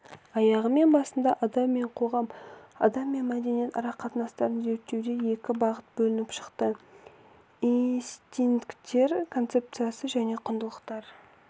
аяғы мен басында адам мен қоғам адам мен мәдениет арақатынастарын зерттеуде екі бағыт бөлініп шықты истинкттер концепциясы және құндылықтар